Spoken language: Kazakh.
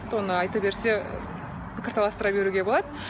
оны айта берсе пікір таластыра беруге болады